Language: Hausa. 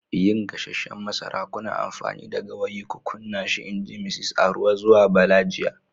yin gasasshen masara, kuna amfani da gawayi ku kunna shi in ji Misis Aruwa zuwa Bala jiya.